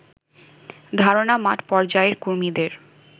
ধারণা মাঠ পর্যায়ের কর্মীদের